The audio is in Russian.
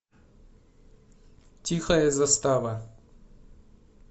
тихая застава